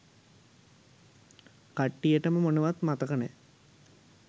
කට්ටියටම මොනවත් මතක නෑ